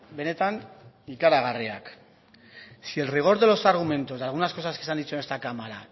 benetan ikaragarriak si el rigor de los argumentos de algunas cosas que se han dicho en esta cámara